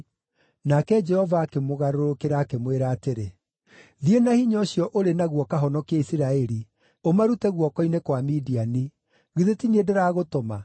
Nake Jehova akĩmũgarũrũkĩra, akĩmwĩra atĩrĩ, “Thiĩ na hinya ũcio ũrĩ naguo ũkahonokie Isiraeli, ũmarute guoko-inĩ kwa Midiani. Githĩ ti niĩ ndĩragũtũma?”